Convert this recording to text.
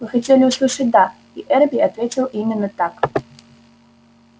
вы хотели услышать да и эрби ответил именно так